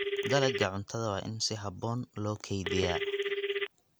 Dalagga cuntada waa in si habboon loo kaydiyaa.